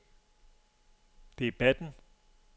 debatten